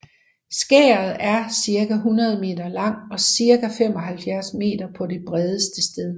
Skæret er cirka 100 m lang og cirka 75 m på det bredeste sted